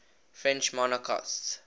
french monarchists